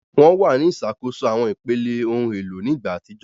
Wọn wà ní ìṣàkóso àwọn ipele, ohun èlò ní ìgbà àtijọ́